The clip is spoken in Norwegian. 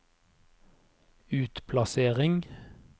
utplassering